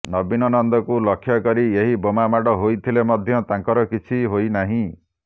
ନବୀନ ନନ୍ଦଙ୍କୁ ଲକ୍ଷ୍ୟ କରି ଏହି ବୋମାମାଡ଼ ହୋଇଥିଲେ ମଧ୍ୟ ତାଙ୍କର କିଛି ହୋଇ ନାହିଁ